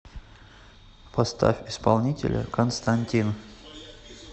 поставь исполнителя константин